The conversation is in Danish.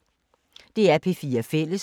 DR P4 Fælles